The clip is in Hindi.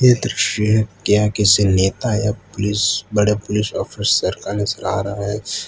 ये दृश्य है या किसी नेता या पुलिस बड़े पुलिस ऑफिसर का नजर आ रहा है।